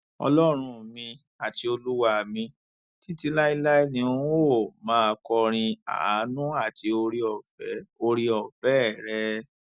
ọlọrun mi àti olúwa mi títí láé ni n óò máa kọrin àánú àti ooreọfẹ ooreọfẹ rẹ